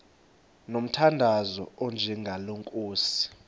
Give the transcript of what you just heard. ngomthandazo onjengalo nkosi